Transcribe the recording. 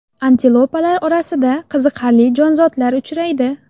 Antilopalar orasida qiziqarli jonzotlar uchraydi.